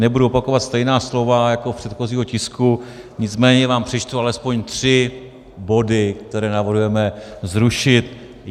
Nebudu opakovat stejná slova jako u předchozího tisku, nicméně vám přečtu alespoň tři body, které navrhujeme zrušit.